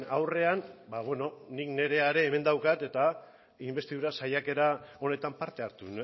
aurrean ba beno nik nirea ere hemen daukat eta inbestidura saiakera honetan parte hartu